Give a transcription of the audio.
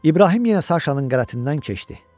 İbrahim yenə Saşanın qabağından keçdi.